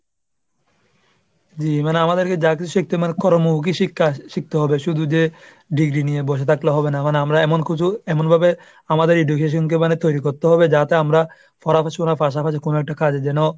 জি, মানে আমাদেরকে যা কিছু শিখতে হবে কর্মমুখী কাজ শি~ শিখতে হবে শুধু যে degree নিয়ে বসে থাকলে হবে না। মানে আমারা এমন কিছু এমন ভাবে আমাদের education কে মানে তৈরি করতে হবে যাতে আমরা পড়াশোনার পাশাপাশি কোন একটা কাজে যেন